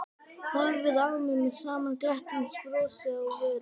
Horfði á mig með sama glettnisbrosið á vörunum.